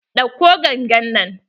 Ɗauko gangan nan!